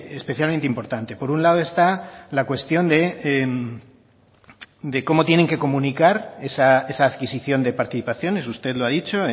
especialmente importante por un lado está la cuestión de cómo tienen que comunicar esa adquisición de participaciones usted lo ha dicho